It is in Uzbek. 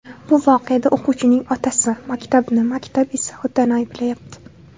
Bu voqeada o‘quvchining otasi maktabni, maktab esa otani ayblayapti.